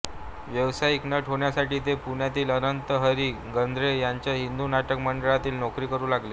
व्यावसायिक नट होण्यासाठी ते पुण्यातील अनंत हरी गद्रे यांच्या हिंदू नाटक मंडळीत नोकरी करू लागले